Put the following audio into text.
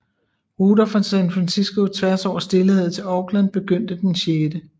Ruter fra San Francisco tværs over Stillehavet til Auckland begyndte den 6